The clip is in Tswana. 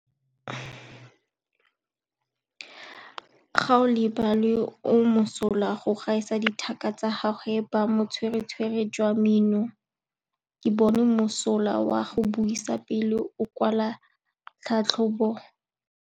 Gaolebalwe o mosola go gaisa dithaka tsa gagwe ka botswerere jwa mmino. Ke bone mosola wa go buisa pele o kwala tlhatlhobô.